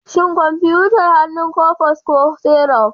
Shin kwamfutar hannu coffex ko syruf?